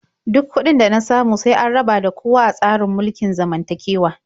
Duk kuɗin da na samu sai an raba da kowa a tsarin mulkin zamantakewa.